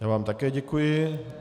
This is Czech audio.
Já vám také děkuji.